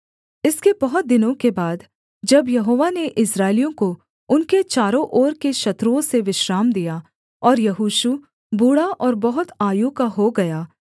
इसके बहुत दिनों के बाद जब यहोवा ने इस्राएलियों को उनके चारों ओर के शत्रुओं से विश्राम दिया और यहोशू बूढ़ा और बहुत आयु का हो गया